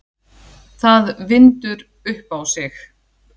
Það vindur upp á sig.